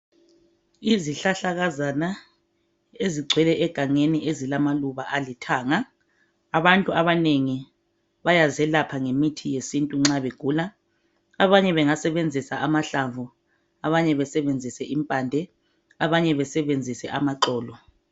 Izihlahlakazana ezigcwele egangeni ezilamaluba alithanga. Abantu abanengi bayazelapha ngemithi yesintu nxa begula . Abanye bengasebenzisa amahlamvu, abanye besebenzise impande abanye besebenzise amaxolo.